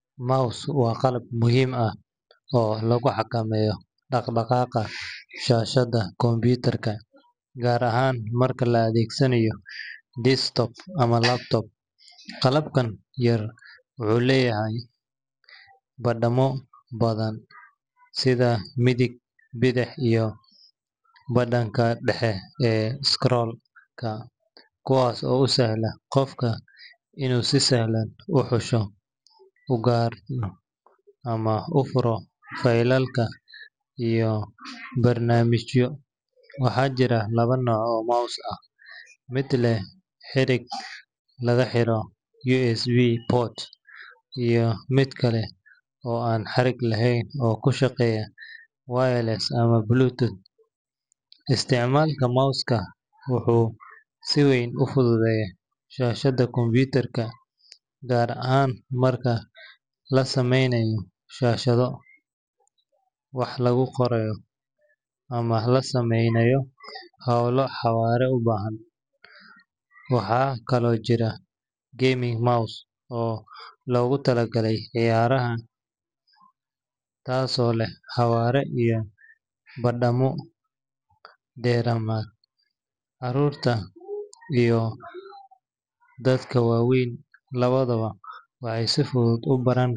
Mouse waa qalab muhiim ah oo lagu xakameeyo dhaqdhaqaaqa shaashadda computer-ka, gaar ahaan marka la adeegsanayo desktop ama laptop. Qalabkan yar wuxuu leeyahay badhamo badan, sida midig, bidix, iyo badhanka dhexe ee scroll-ka, kuwaas oo u sahla qofka inuu si fudud u xusho, u guuro ama u furo faylal iyo barnaamijyo. Waxaa jira laba nooc oo mouse ah: mid leh xarig lagu xiro USB port iyo mid kale oo aan xarig lahayn oo ku shaqeeya wireless ama Bluetooth. Isticmaalka mouse-ka wuxuu si weyn u fududeeyaa shaqada computer-ka, gaar ahaan marka la samaynayo nashqado, wax lagu qorayo ama la sameynayo hawlo xawaare u baahan. Waxaa kaloo jirta gaming mouse oo loogu talagalay ciyaaraha, taasoo leh xawaare iyo badhamo dheeraad ah. Carruurta iyo dadka waaweyn labadaba waxay si fudud u baran.